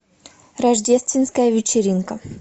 рождественская вечеринка